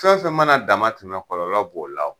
Fɛn fɛn mana dama tɛmɛ kɔlɔlɔ b'o la o